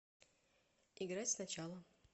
играть сначала